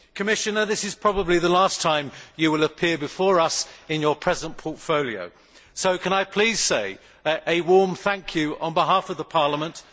Commissioner, this is probably the last time you will appear before us in your present portfolio, so can I please say a warm thank you on behalf of Parliament.